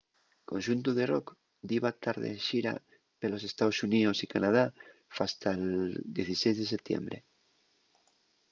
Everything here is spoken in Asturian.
el conxuntu de rock diba tar de xira pelos estaos xuníos y canadá fasta’l 16 de setiembre